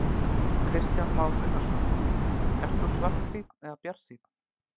Kristján Már Unnarsson: Ert þú svartsýnn eða bjartsýnn?